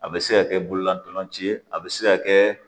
A bɛ se ka kɛ bololatɔlaci ye a bɛ se ka kɛ